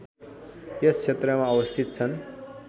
यस क्षेत्रमा अवस्थित छन्